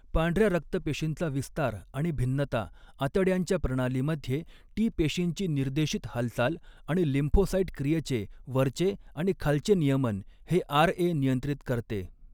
पांढऱ्या रक्तपेशींचा विस्तार आणि भिन्नता, आतड्यांच्या प्रणालीमध्ये टी पेशींची निर्देशित हालचाल आणि लिम्फोसाइट क्रियेचे वरचे आणि खालचे नियमन हे आरए नियंत्रित करते.